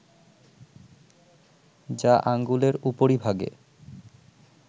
যা আঙ্গুলের উপরিভাগে